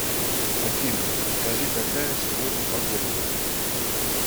афина скажи какая сегодня погода